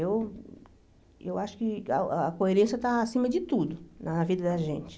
Eu eu acho que ah a coerência está acima de tudo na vida da gente.